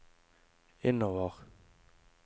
innover